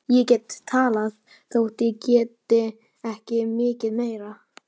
Ég get talað þótt ég geti ekki mikið meira.